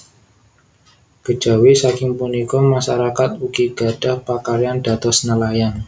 Kejawi saking punika masarakat ugi gadhah pakaryan dados nelayan